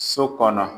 So kɔnɔ